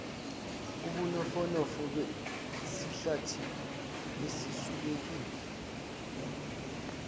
ubunofonofo besihlathi esisulekile